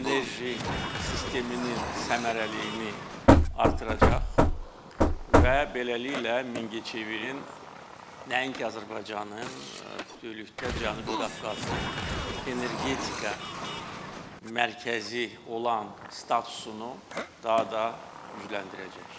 Enerji sisteminin səmərəliliyini artıracaq və beləliklə Mingəçevirin nəinki Azərbaycanın, bütövlükdə Cənubi Qafqazın energetika mərkəzi olan statusunu daha da gücləndirəcək.